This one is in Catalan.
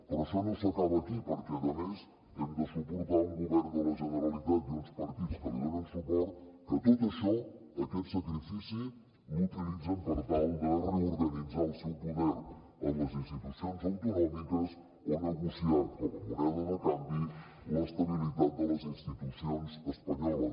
però això no s’acaba aquí perquè a més hem de suportar un govern de la generalitat i uns partits que li donen suport que tot això aquest sacrifici l’utilitzen per tal de reorganitzar el seu poder en les institucions autonòmiques o negociar com a moneda de canvi l’estabilitat de les institucions espanyoles